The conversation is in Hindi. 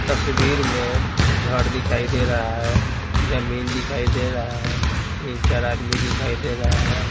तस्वीर में घर दिखाई दे रहा है जमीन दिखाई दे रहा है तीन-चार आदमी दिखाई दे रहे हैं।